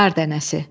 Qar dənəsi.